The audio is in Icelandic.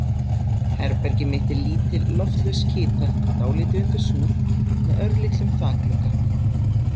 Herbergið mitt er lítil, loftlaus kytra, dálítið undir súð, með örlitlum þakglugga.